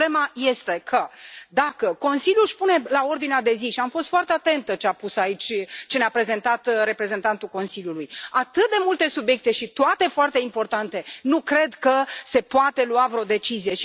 Problema este că, dacă Consiliul își pune pe ordinea de zi și am fost foarte atentă la ce ne a prezentat reprezentantul Consiliului atât de multe subiecte și toate foarte importante, nu cred că se poate lua vreo decizie.